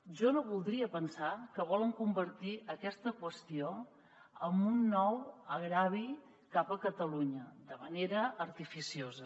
jo no voldria pensar que volen convertir aquesta qüestió en un nou greuge cap a catalunya de manera artificiosa